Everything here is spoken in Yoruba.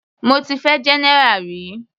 Mo ti fẹ́ general rí.